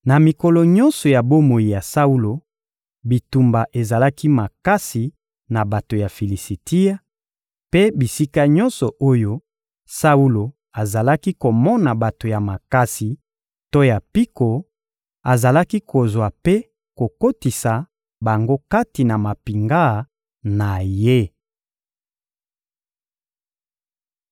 Na mikolo nyonso ya bomoi ya Saulo, bitumba ezalaki makasi na bato ya Filisitia; mpe bisika nyonso oyo Saulo azalaki komona bato ya makasi to ya mpiko, azalaki kozwa mpe kokotisa bango kati na mampinga na ye.